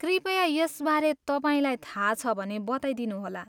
कृपया यसबारे तपाईँलाई थाहा छ भने बताइदिनुहोला।